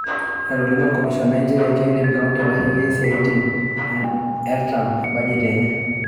Etolimuo olcomishonai nchere keidim county aitasheki esajati e artam e bajet enye.